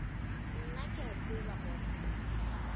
nna ke a tseba gore